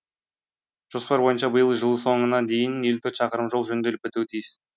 жоспар бойынша биыл жыл соңына дейін шақырым жол жөнделіп бітуі тиіс